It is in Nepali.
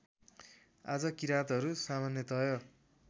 आज किराँतहरू सामान्यतय